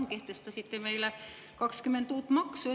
Te kehtestasite meile 20 uut maksu.